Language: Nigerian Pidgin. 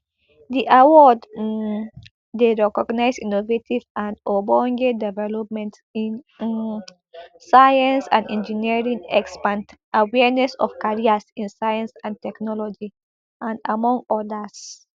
di award um dey recognise innovative and ogbonge developments in um science and engineering expand awareness of careers in science and technology and among odas